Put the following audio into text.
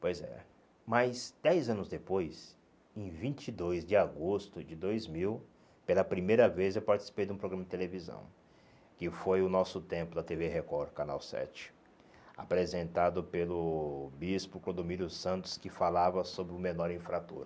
Pois é. Mas, dez anos depois, em vinte e dois de agosto de dois mil, pela primeira vez eu participei de um programa de televisão, que foi o Nosso Tempo, da tê vê Record, Canal sete, apresentado pelo bispo Codomiro Santos, que falava sobre o menor infrator.